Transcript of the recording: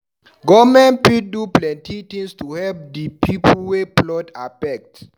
Government fit do plenty tins to help di pipu wey flood affect.